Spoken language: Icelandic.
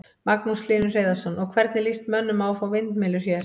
Magnús Hlynur Hreiðarsson: Og, hvernig lýst mönnum á að fá vindmyllur hér?